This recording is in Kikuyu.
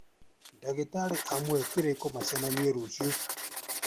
Ndagĩtarĩ amũhe kĩrĩko macemanie rũcio